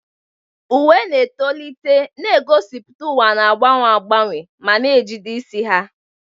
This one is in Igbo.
Uwe na-etolite, na-egosipụta ụwa na-agbanwe agbanwe, ma na-ejide isi ha.